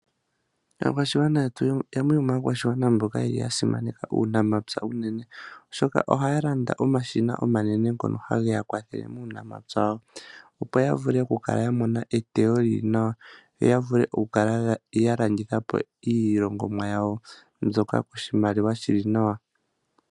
Aakwashigwana yetu yamwe yomakwashigwana mboka yasimaneka uunamapya unene oshoka ohaya landa omashina omanene ngoka haye ga kwathele muunamapya wawo opo yavule okukala yamona eteyo lili nawa yo yavule okukala yalanditha po iilongomwa yawo mbyoka koshimaliwa shili nawa.